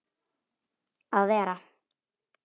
að vera.